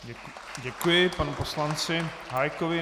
Děkuji panu poslanci Hájkovi.